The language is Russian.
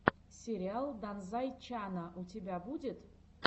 сериал данзай чана у тебя будет